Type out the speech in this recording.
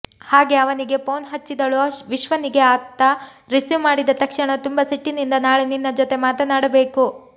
ಹಾಗೆ ಅವನಿಗೆ ಫೋನ್ ಹಚ್ಚಿದಳು ವಿಶ್ವನಿಗೆ ಆತ ರಿಸಿವ್ ಮಾಡಿದ ತಕ್ಷಣ ತುಂಬಾ ಸಿಟ್ಟಿನಿಂದ ನಾಳೆ ನಿನ್ನ ಜೊತೆಗೆ ಮಾತಾಡಬೇಕು